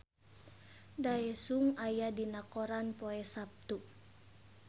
Daesung aya dina koran poe Saptu